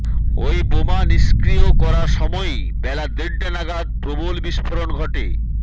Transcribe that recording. ওই বোমা নিষ্ক্রিয় করার সময়ই বেলা দেড়টা নাগাদ প্রবল বিস্ফোরণ ঘটে